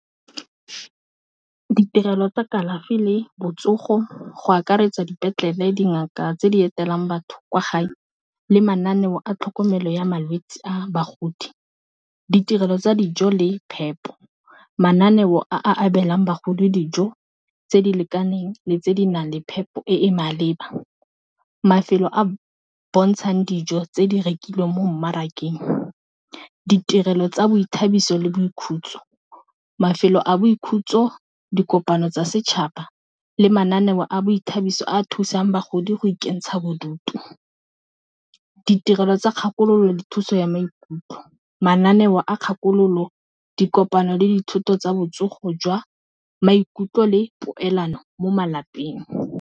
Ditirelo tsa kalafi le botsogo go akaretsa dipetlele dingaka tse di etelang batho kwa gae le mananeo a tlhokomelo ya malwetsi a bagodi, ditirelo tsa dijo le phepo, mananeo a abelwang bagodi dijo tse di lekaneng le tse di nang le phepo e e maleba, mafelo a bontshang dijo tse di rekilweng mo mmarakeng ditirelo tsa boithabiso le boikhutso, mafelo a boikhutso dikopano tsa setšhaba le mananeo a boithabiso a thusang bagodi go ikentsha bodutu, ditirelo tsa kgakololo le thuso ya maikutlo, mananeo a kgakololo dikopano le dithoto tsa botsogo jwa maikutlo le poelano mo malapeng.